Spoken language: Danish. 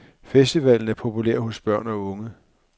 Festivalen er populær hos børn og unge.